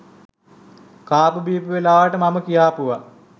කාපු බීපු වෙලාවට මම කියාපුව